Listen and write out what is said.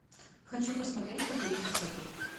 хочу посмотреть покорить высоту